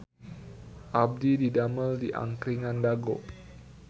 Abdi didamel di Angkringan Dago